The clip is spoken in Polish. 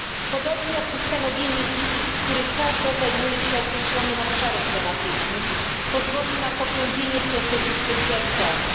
Podobnie jak ustanowienie izb, z których każda zajmuje się określonym obszarem tematycznym, pozwoli na pogłębienie procesu specjalizacji.